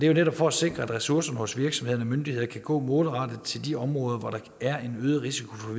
jo netop for at sikre at ressourcerne hos virksomheder og myndigheder kan gå målrettet til de områder hvor der er en øget risiko for